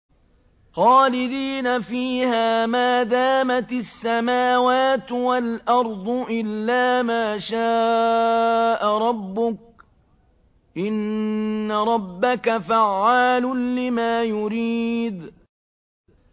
خَالِدِينَ فِيهَا مَا دَامَتِ السَّمَاوَاتُ وَالْأَرْضُ إِلَّا مَا شَاءَ رَبُّكَ ۚ إِنَّ رَبَّكَ فَعَّالٌ لِّمَا يُرِيدُ